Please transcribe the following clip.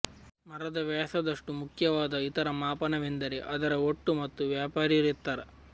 ಮರದ ವ್ಯಾಸದಷ್ಟು ಮುಖ್ಯವಾದ ಇತರ ಮಾಪನವೆಂದರೆ ಅದರ ಒಟ್ಟು ಮತ್ತು ವ್ಯಾಪಾರೀ ಎತ್ತರ